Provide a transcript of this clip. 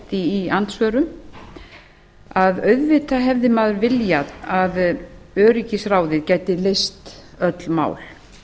í andsvörum auðvitað hefði maður viljað að öryggisráðið gæti leyst öll mál